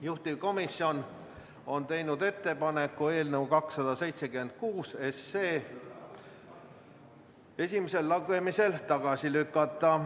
Juhtivkomisjon on teinud ettepaneku eelnõu 276 esimesel lugemisel tagasi lükata.